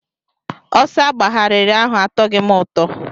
Ọsọ agbagharị ahụ atoghị m ụtọ.